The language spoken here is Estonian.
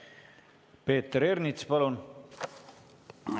Peeter Ernits, palun!